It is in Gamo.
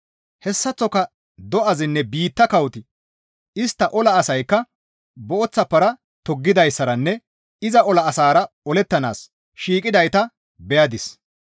Hessaththoka do7azinne biitta kawoti istta ola asaykka booththa para toggidayssaranne iza ola asaara olettanaas shiiqidayta beyadis.